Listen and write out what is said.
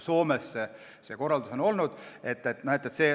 Soomes on see korraldus selline olnud.